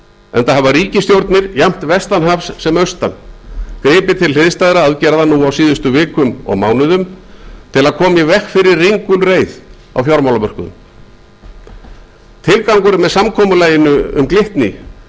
enda hafa ríkisstjórnir jafnt vestan hafs sem austan gripið til hliðstæðra aðgerða nú á síðustu vikum og mánuðum til að koma í veg fyrir ringulreið á fjármálamörkuðum tilgangurinn með aðgerðinni gagnvart glitni